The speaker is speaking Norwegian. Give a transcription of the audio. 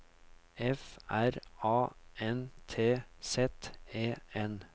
F R A N T Z E N